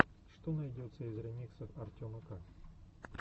что найдется из ремиксов артема к